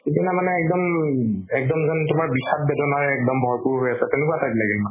সিদিনা মানে একদম, একদম যেন তুমাৰ বিসাদ বেদনাৰে ভৰপুৰ হয় আছে তেনেকুৱা type লাগিল মোৰ